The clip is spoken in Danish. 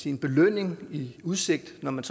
en belønning i udsigt når man